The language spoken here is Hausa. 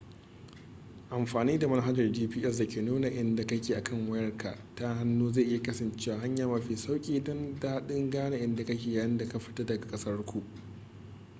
amfani da manhajar gps da ke nuna inda kake a kan wayar ka ta hannu zai iya kasancewa hanya mafi sauki da daɗin gane inda kake yayin da ka fita daga ƙasar ku